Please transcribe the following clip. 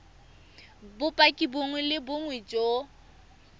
bopaki bongwe le bongwe jo